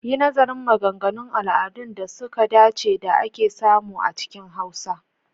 Yi nazarin maganganun al'adun da suka dace da ake samu a cikin Hausa.